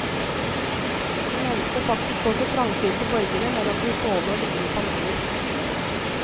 De nevnte faktisk også trangsynte borgere mellom de stående og liggende paneler.